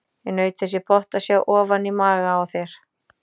Ég naut þess í botn að sjá ofan í maga á þér.